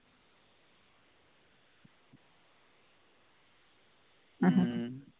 உம்